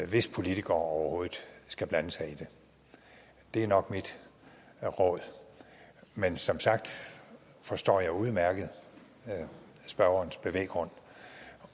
hvis politikere overhovedet skal blande sig i det det er nok mit råd men som sagt forstår jeg udmærket spørgerens bevæggrund